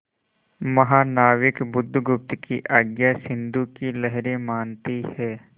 महानाविक बुधगुप्त की आज्ञा सिंधु की लहरें मानती हैं